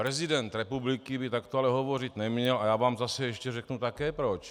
Prezident republiky by takto ale hovořit neměl a já vám zase ještě řeknu také proč.